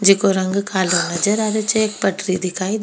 जिको रंग कालो नजर आ रहियो छे एक पटरी दिखाई दे --